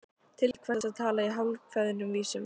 Til hvers að tala í hálfkveðnum vísum?